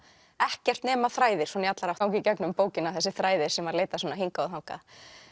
ekkert nema þræðir svona í allar áttir í gegnum bókina þessir þræðir sem leita hingað og þangað